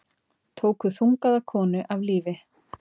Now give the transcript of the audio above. Tóku þungaða konu af lífi